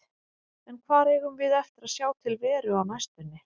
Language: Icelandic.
En hvar eigum við eftir að sjá til Veru á næstunni?